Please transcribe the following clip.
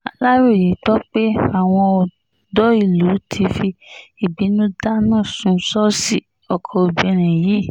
aláròye gbọ́ pé àwọn ọ̀dọ́ ìlú ti fi ìbínú dáná sun ṣọ́ọ̀ṣì ọkọ obìnrin yìí